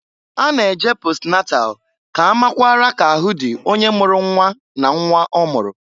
A na -eje posnatal k'a makwara k'ahụ dị onye mụrụ nnwa na nnwa ọmụrụ.